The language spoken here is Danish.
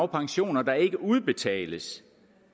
pensioner der ikke udbetales